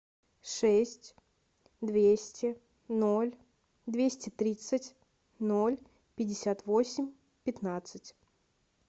шесть двести ноль двести тридцать ноль пятьдесят восемь пятнадцать